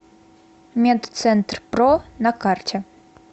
медцентрпро на карте